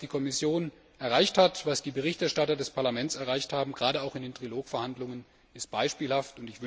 Was die Kommission erreicht hat, was die Berichterstatter des Parlaments erreicht haben, gerade auch in den Trilogverhandlungen, ist beispielhaft.